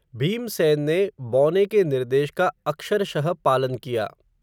भीमसेन ने, बौने के निर्देश का, अक्षरशः पालन किया